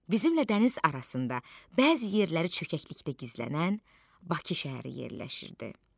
Bizimlə dəniz arasında bəzi yerləri çökəklikdə gizlənən Bakı şəhəri yerləşirdi.